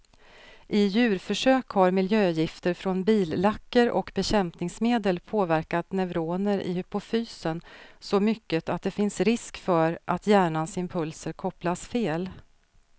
I djurförsök har miljögifter från billacker och bekämpningsmedel påverkat neuroner i hypofysen så mycket att det finns risk för att hjärnans impulser kopplas fel.